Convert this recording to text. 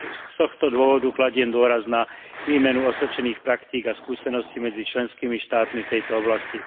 Z tohto dôvodu kladiem dôraz na výmenu osvedčených praktík a skúseností medzi členskými štátmi v tejto oblasti.